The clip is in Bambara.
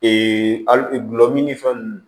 al gulɔmin ni fɛn nunnu